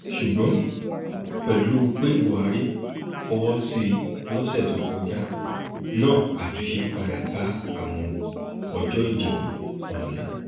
ṣùgbọn pẹlú pé buhari fọwọ sí i lọsẹ tó kọjá náà àtúnṣe padà bá àwọn ọjọ ìdìbò ọhún